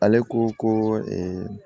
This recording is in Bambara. Ale ko ko